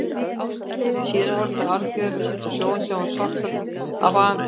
Síðan horfðu þeir aðgerðalausir út á sjóinn, sem var svartur af vaðandi síld.